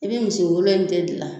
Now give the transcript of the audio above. I n'i misi wolo in tɛ dilan.